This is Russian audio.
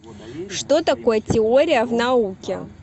что такое теория в науке